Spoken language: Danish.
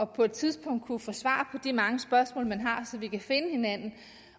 på et tidspunkt at kunne få svar de mange spørgsmål man har så vi kan finde hinanden